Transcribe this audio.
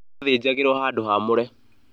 Yathĩnjagĩrwo handũ haamũre